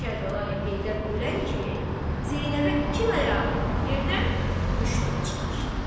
Kərbəlayı Heydər ölən kimi Zeynəbə iki ləyaqətli yerdən müştəri çıxmışdı.